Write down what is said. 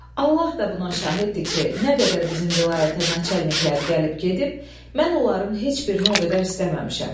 Allah da buna şahiddir ki, nə qədər bizim vilayətə naçalniklər gəlib gedib, mən onların heç birini o qədər istəməmişəm.